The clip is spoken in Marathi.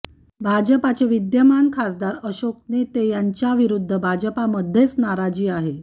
भाजपचे विद्यमान खासदार अशोक नेते यांच्या विरूद्ध भाजपमध्येच नाराजी आहे